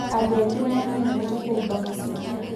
andũ aingĩ nĩ mamenyerete kũhumba masiki